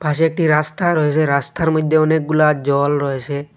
পাশে একটি রাস্তা রয়েছে রাস্তার মইধ্যে অনেকগুলা জল রয়েছে।